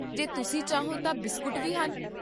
ਜੇ ਤੁਸੀਂ ਚਾਹੋ ਤਾਂ ਬਿਸਕੁਟ ਵੀ ਹਨ